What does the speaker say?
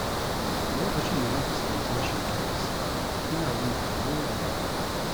Lokacin da na fuskanci rashin tabbas, ina jin tsoro da damuwa.